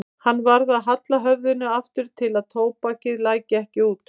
Hann varð að halla höfðinu aftur til að tóbakið læki ekki út.